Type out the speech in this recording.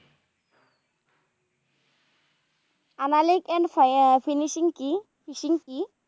আহ finishing কি fishing কি?